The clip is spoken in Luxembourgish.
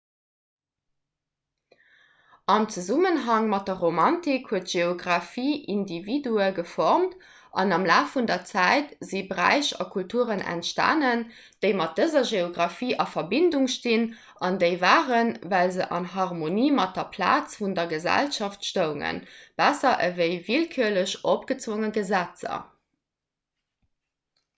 am zesummenhang mat der romantik huet d'geografie individue geformt an am laf vun der zäit si bräich a kulturen entstanen déi mat dëser geografie a verbindung stinn an déi waren well se an harmonie mat der plaz vun der gesellschaft stoungen besser ewéi willkürlech opgezwonge gesetzer